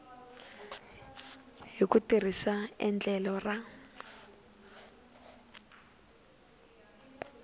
hi ku tirhisa endlelo ra